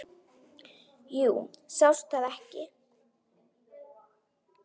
Jú, sástu það ekki.